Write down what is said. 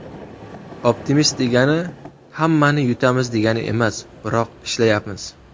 Optimist degani hammani yutamiz degani emas, biroq ishlayapmiz.